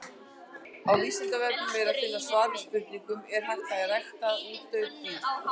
Á Vísindavefnum er að finna svar við spurningunni Er hægt að einrækta útdauð dýr?